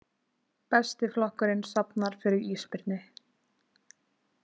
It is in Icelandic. Besti flokkurinn safnar fyrir ísbirni